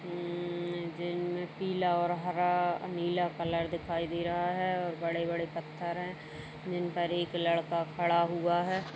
पीला और हरा नीला कलर दिखाई दे रहा है और बड़े-बड़े पत्थर है जिन पर एक लड़का खड़ा हुआ है।